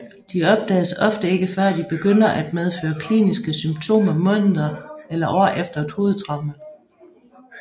De opdages ofte ikke før de begynder at medføre kliniske symptomer måneder eller år efter et hovedtraume